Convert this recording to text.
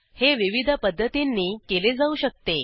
हे विविध पध्दतींनी केले जाऊ शकते